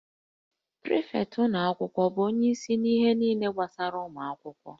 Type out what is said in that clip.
Prịfektị ụlọ akwụkwọ bụ onyeisi na-ahụ ihe niile gbasara ụmụ akwụkwọ